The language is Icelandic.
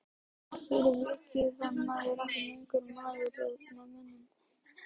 Og fyrir vikið var maður ekki lengur maður með mönnum.